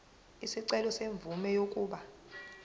isicelo semvume yokuba